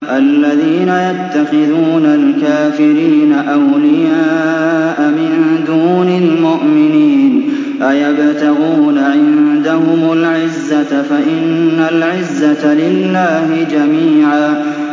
الَّذِينَ يَتَّخِذُونَ الْكَافِرِينَ أَوْلِيَاءَ مِن دُونِ الْمُؤْمِنِينَ ۚ أَيَبْتَغُونَ عِندَهُمُ الْعِزَّةَ فَإِنَّ الْعِزَّةَ لِلَّهِ جَمِيعًا